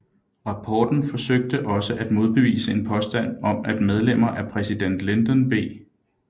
Rapporten forsøgte også at modbevise en påstand om at medlemmer af præsident Lyndon B